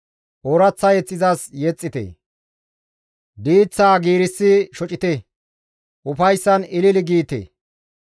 Ooraththa mazamure izas yexxite; diiththaa giigsi shocite; ufayssan ilili giite.